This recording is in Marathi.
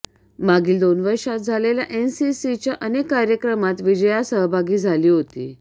मागील दोन वर्षात झालेल्या एनसीसीच्या अनेक कार्यक्रमात विजया सहभागी झाली होती